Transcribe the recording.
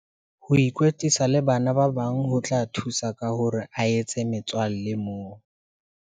Ho ikwetlisa le bana ba bang ho tla thusa ka hore a etse metswalle moo.